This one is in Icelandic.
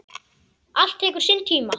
Allt tekur sinn tíma.